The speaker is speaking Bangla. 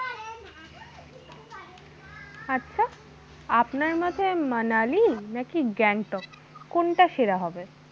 আচ্ছা আপনার মতে মানালি নাকি গ্যাংটক কোনটা সেরা হবে?